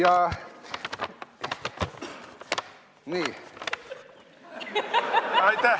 Aitäh!